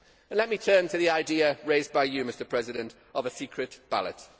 Let me turn to the idea raised by you, Mr President, of a secret ballot.